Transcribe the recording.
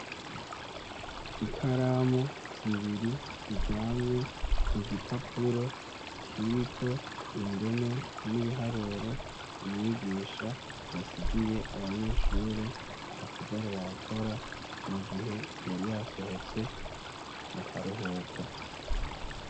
Ikaramu zibiri ziryamye kugipapuro kiriko indome n’ibiharuro umwigisha yasigiye abanyeshure basigare barakora mugihe yari yasohotse mukaruhuko.